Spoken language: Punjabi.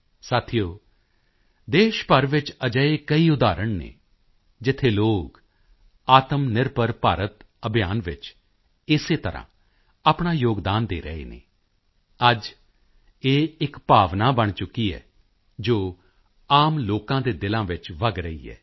ਸਾਥੀਓ ਦੇਸ਼ ਭਰ ਵਿੱਚ ਅਜਿਹੇ ਕਈ ਉਦਾਹਰਣ ਹਨ ਜਿੱਥੇ ਲੋਕ ਆਤਮਨਿਰਭਰ ਭਾਰਤ ਅਭਿਯਾਨ ਵਿੱਚ ਇਸੇ ਤਰ੍ਹਾਂ ਆਪਣਾ ਯੋਗਦਾਨ ਦੇ ਰਹੇ ਹਨ ਅੱਜ ਇਹ ਇੱਕ ਭਾਵਨਾ ਬਣ ਚੁੱਕੀ ਹੈ ਜੋ ਆਮ ਲੋਕਾਂ ਦੇ ਦਿਲਾਂ ਵਿੱਚ ਵਗ ਰਹੀ ਹੈ